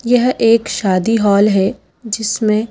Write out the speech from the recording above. यह एक शादी हॉल है जिसमें--